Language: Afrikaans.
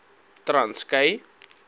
transkei